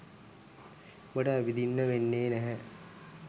උඹට ඇවිදින්න වෙන්නේ නැහැ.